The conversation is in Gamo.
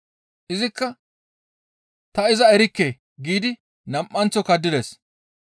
Izikka, «Ta iza erikke!» giidi nam7anththo kaddides.